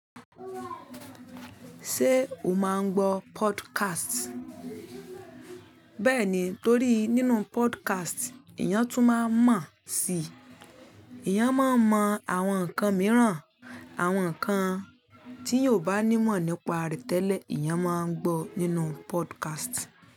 Ṣé o máa ń gbọ́ podcast? Bẹ́ẹ̀ni, torí nínú podcast, èèyàn tún máa n mọ̀ si. Èèyàn máa mọ àwọn nǹkan mìíràn, àwọn nǹkan tí èèyàn o bá ní ìmọ̀ nípa rẹ̀ tẹ́lẹ̀, ìyàn máa ń gbọ́ nínú podcast.